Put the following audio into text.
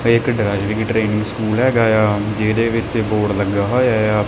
ਆਹ ਇੱਕ driving training school ਹੈਗਾਆ ਜਿਹਦੇ ਵਿੱਚ ਬੋਰਡ ਲੱਗਾ ਹੋਇਆ ਆ।